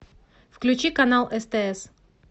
включи канал стс